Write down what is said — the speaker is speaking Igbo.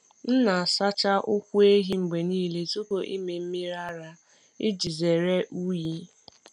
M na-asacha ụkwụ ehi mgbe niile tupu ịmị mmiri ara iji zere unyi.